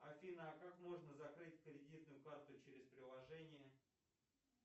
афина а как можно закрыть кредитную карту через приложение